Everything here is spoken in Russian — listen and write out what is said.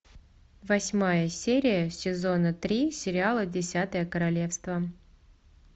восьмая серия сезона три сериала десятое королевство